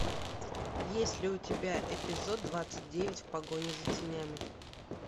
есть ли у тебя эпизод двадцать девять в погоне за тенями